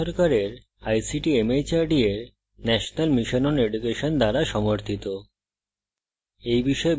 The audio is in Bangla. এটি ভারত সরকারের ict mhrd এর national mission on education দ্বারা সমর্থিত